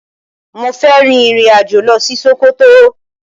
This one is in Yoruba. Mo fẹ́ rin ìrìn-àjò lọ ṣí Ṣókótó.